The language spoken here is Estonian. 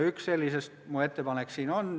Üks sellistest on mu siinne ettepanek.